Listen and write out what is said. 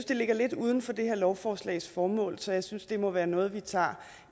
det ligger lidt uden for det her lovforslags formål så jeg synes det må være noget vi tager